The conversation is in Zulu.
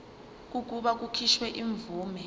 kokuba kukhishwe imvume